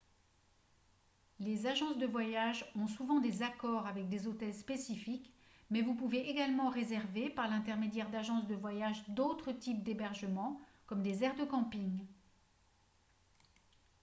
les agences de voyage ont souvent des accords avec des hôtels spécifiques mais vous pouvez également réserver par l'intermédiaire d'agences de voyage d'autres types d'hébergement comme des aires de camping